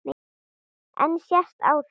En sést á þeim?